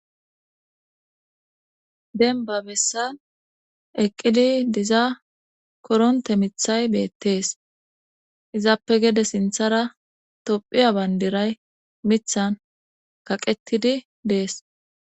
Dembba bessan eqqidi diza koronte mithay beettees izaappe gede sinthara tophiya bayndiray mithan kaqetidi dees.